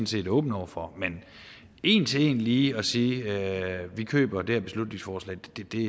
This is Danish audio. set åben over for men en til en lige at sige at vi køber det her beslutningsforslag